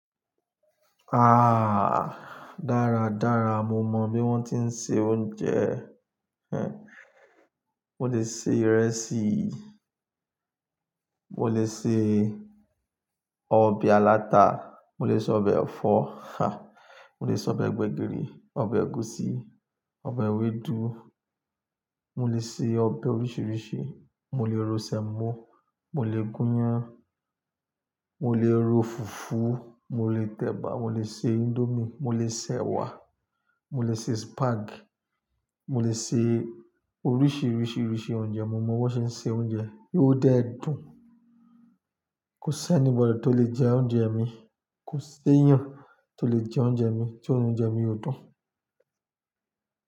Ah! Dáradára mo mọ bí wọ́n tí ń se oúnjẹ. Ehn, mo lè se ìrẹsì, mo lè se ọbẹ̀ aláta, mo lè se ọbẹ̀ ẹ̀fọ́, ha, mo lè se ọbẹ̀ gbẹ̀gìrì, ọbẹ̀ ẹ̀gúsí, ọbẹ̀ ewédú, mo lè se ọbẹ̀ oríṣìíríṣìí, mo lè ro sẹ̀mọ́, mo lè gúnyán, mo lè ro fùfú, mo lè tẹ̀bà, mo lè se índomie, mo lè se ẹ̀wà, mo lè se spaghetti, mo lè se oríṣìíríṣìí irúfẹ́ oúnjẹ. Mo mọ bọ́n ṣe ń se oúnjẹ yí ó dẹ́ dún. Kò sí anybody tó le jẹ oúnjẹ mi, kò sí èèyàn tó le jẹ oúnjẹ mi, tí o ni oúnjẹ mi ò dùn.